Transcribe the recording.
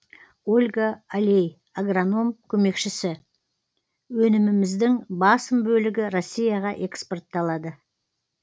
ольга олей агроном көмекшісі өніміміздің басым бөлігі ресейге экспортталады